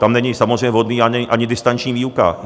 Tam není samozřejmě vhodná ani distanční výuka.